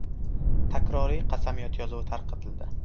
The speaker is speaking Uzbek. Takroriy qasamyod yozuvi tarqatildi.